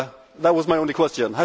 That was my only question.